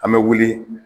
An bɛ wuli